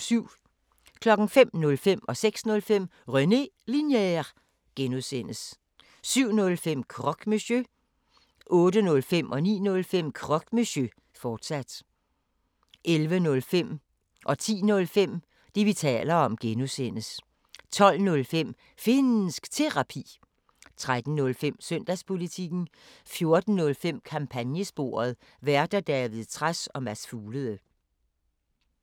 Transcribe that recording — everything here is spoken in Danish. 05:05: René Linjer (G) 06:05: René Linjer (G) 07:05: Croque Monsieur 08:05: Croque Monsieur, fortsat 09:05: Croque Monsieur, fortsat 10:05: Det, vi taler om (G) 11:05: Det, vi taler om (G) 12:05: Finnsk Terapi 13:05: Søndagspolitikken 14:05: Kampagnesporet: Værter: David Trads og Mads Fuglede